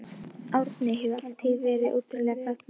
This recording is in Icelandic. Árni hefur alla tíð verið ótrúlega kraftmikill.